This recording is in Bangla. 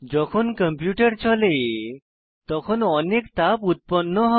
যখন কম্পিউটার চলে তখন অনেক তাপ উৎপন্ন করে